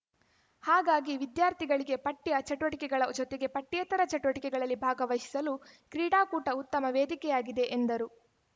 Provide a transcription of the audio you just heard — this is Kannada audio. ಹಾಗಾಗಿ ವಿದ್ಯಾರ್ಥಿಗಳಿಗೆ ಪಠ್ಯ ಚಟುವಟಿಕೆಗಳ ಜೊತೆಗೆ ಪಠ್ಯೇತರ ಚಟುವಟಿಕೆಗಳಲ್ಲಿ ಭಾಗವಹಿಸಲು ಕ್ರೀಡಾಕೂಟ ಉತ್ತಮ ವೇದಿಕೆಯಾಗಿದೆ ಎಂದರು